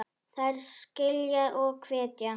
Þær skilja og hvetja.